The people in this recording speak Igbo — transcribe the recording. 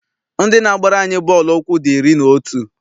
Ndị na-agbara anyị bọọlụ ụkwụ dị iri na otu.